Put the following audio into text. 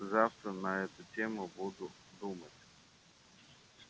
завтра на эту тему буду думать